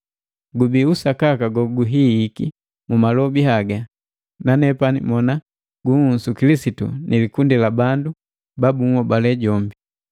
Gubii usakaka goguhihiki mu malobi haga, nanepani mona gunhusu Kilisitu ni likundi labandu ba bunhobale jombi.